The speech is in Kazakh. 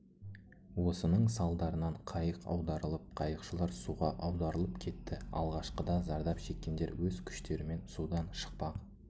осының салдарынан қайық аударылып қайықшылар суға аударылып кетті алғашқыда зардап шеккендер өз күштерімен судан шықпақ